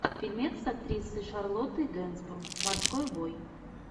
фильмец с актрисой шарлоттой генсбур морской бой